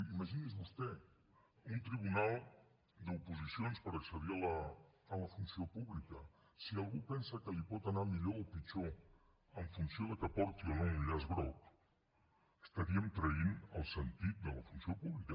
imagini’s vostè un tribunal d’oposicions per accedir a la funció pública si algú pensa que li pot anar millor o pitjor en funció de que porti o no un llaç groc estaríem traint el sentit de la funció pública